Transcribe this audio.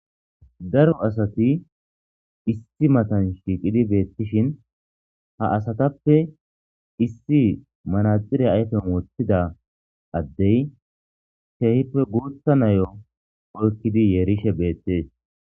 Daro asati issi matan shiiqidi detees. Dishin ha asatappe issi manaxire ayfiyan woththida adde keehippe guuththa nayiyo oyqidi yerishe beetees.